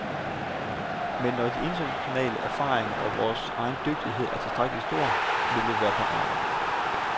Men når de internationale erfaringer og vores egen dygtighed er tilstrækkeligt stor, vil vi være parate.